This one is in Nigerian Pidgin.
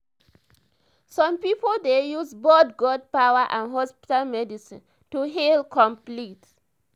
some pipo dey use both god-power and hospital medicine to heal complete.